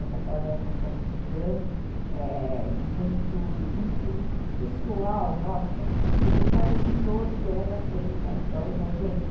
Essa casa era uma casa muito grande, é... muito pessoal nossa, porque cada tijolo dela tem a história da gente.